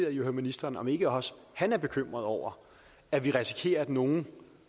at høre ministeren om ikke også han er bekymret over at vi risikerer at nogle